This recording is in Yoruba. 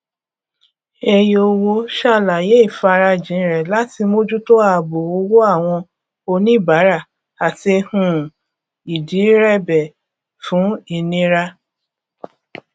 eyowo sàlàyé ìfarajìn rẹ láti mójú tó ààbò owó àwọn oníbàárà àti um ìdírẹbẹ fún ìnira